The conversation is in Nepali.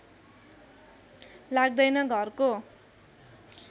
लाग्दैन घरको